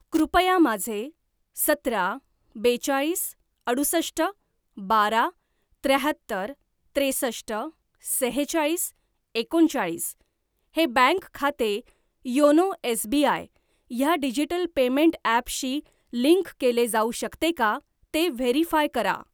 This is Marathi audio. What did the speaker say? कृपया माझे सतरा बेचाळीस अडुसष्ट बारा त्र्याहत्तर त्रेसष्ट सेहेचाळीस एकोणचाळीस हे बँक खाते योनो एसबीआय ह्या डिजिटल पेमेंट ॲपशी लिंक केले जाऊ शकते का ते व्हेरीफाय करा?